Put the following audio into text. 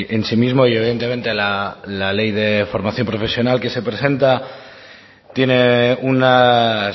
en sí mismo y evidentemente la ley de formación profesional que se presenta tiene unas